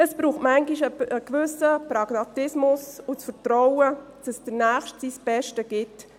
– Es braucht manchmal einen gewissen Pragmatismus und das Vertrauen, dass der Nächste sein Bestes gibt.